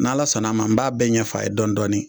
N'Ala sɔnn'a ma n b'a bɛɛ ɲɛfɔ a ye dɔɔni dɔɔni